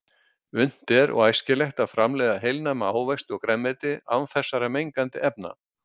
Unnt er og æskilegt að framleiða heilnæma ávexti og grænmeti án þessara mengandi efna.